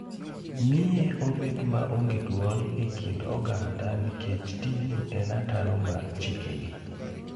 Miye obet maonge duol e kind oganda nikech tijno en ataro mar chikegi.